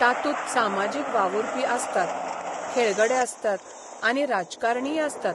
तातूंत सामाजीक वावुरपी आसतात, खेळगडे आसतात आनी राजकारणीय आसतात.